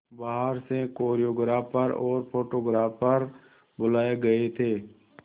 बाहर से कोरियोग्राफर और फोटोग्राफर बुलाए गए थे